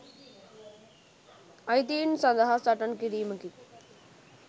අයිතීන් සදහා සටන් කිරීමකි.